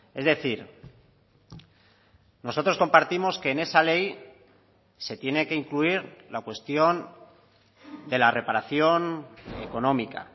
es decir nosotros compartimos que en esa ley se tiene que incluir la cuestión de la reparación económica